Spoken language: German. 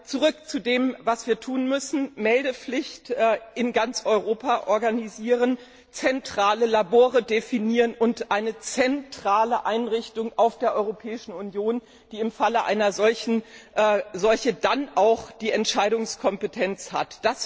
Zurück zu dem, was wir tun müssen Eine Meldepflicht in ganz Europa organisieren, zentrale Labore definieren und eine zentrale Einrichtung in der Europäischen Union schaffen, die im Falle einer solchen Seuche dann auch die Entscheidungskompetenz hat.